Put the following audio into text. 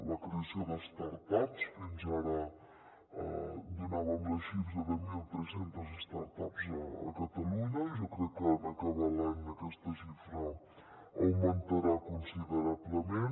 la creació de start ups fins ara donàvem la xifra de mil tres cents start ups a catalunya jo crec que en acabar l’any aquesta xifra augmentarà considerablement